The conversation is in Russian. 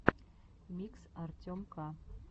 микс артем к